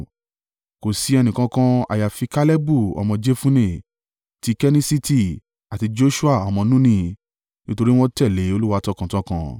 kò sí ẹnìkankan àyàfi Kalebu ọmọ Jefunne ti Kenissiti àti Joṣua ọmọ Nuni, nítorí wọ́n tẹ̀lé Olúwa tọkàntọkàn.’